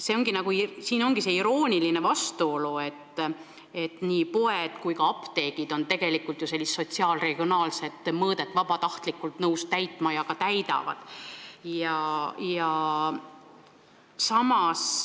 Siin peitubki see irooniline vastuolu, et nii poed kui ka apteegid on ju nõus vabatahtlikult täitma sotsiaal-regionaalpoliitilist rolli ja seda nad ka täidavad.